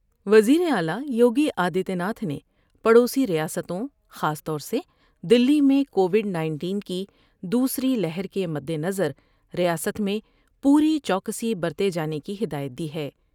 وزیراعلی یوگی آدتیہ ناتھ نے پڑوی ریاستوں خاص طور سے دلی میں کووڈ نائنٹین کی دوسری لہر کے مدنظر ریاست میں پوری چوکسی برتے جانے کی ہدایت دی ہے ۔